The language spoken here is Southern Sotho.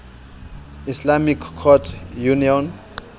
islamic courts union